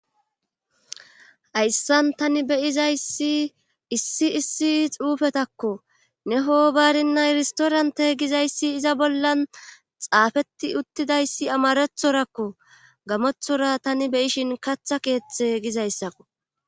hayssan tani beyizayssi issi issi xuufetakko ne ho baarinna irstoranta gizayssi iza bollan xaafeti uttidayssi amarethorakko gamothora tani beyishin katha keeththe gizayssakko